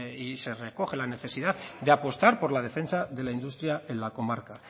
y se recoge la necesidad de apostar por la defensa de la industria en la comarca